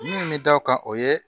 Minnu bɛ da o kan o ye